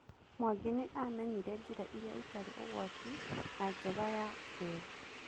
Mwangi nĩ amenyire njĩra ĩrĩa ĩtarĩ ũgwati na njega ya ũgendi.